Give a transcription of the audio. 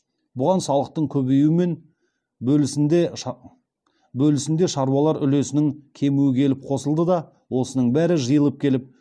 бұған салықтың көбеюі мен бөлісінде шаруалар үлесінің кемуі келіп қосылды да осының бәрі жиылып келіп